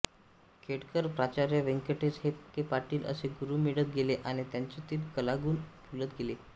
खेडकर प्राचार्य व्यंकटेश के पाटील असे गुरू मिळत गेले आणि त्यांच्यातील कलागुण फुलत गेले